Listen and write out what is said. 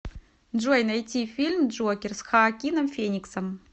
джой найти фильм джокер с хаокином фениксом